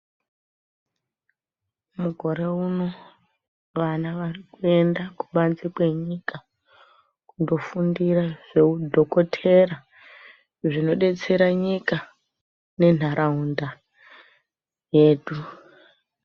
Mukore uno vana vanoenda kubanze kwenyika, kundofundira zveudhokotera, zvinodetsera nyika nenharaunda yedu.